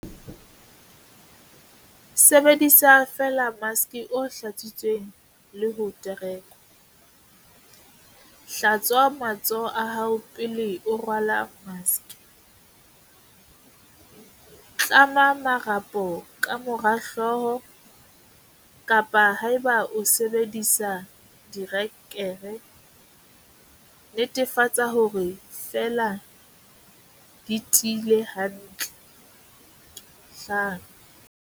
Sebedisa feela maske o hlatsitsweng le ho terekwa. Hlatswa matsoho a hao pele o rwala maske. Tlama marapo ka mora hlooho, kapa haeba o sebedisa dire-kere, netefatsa hore di fela di tiile hantle.5.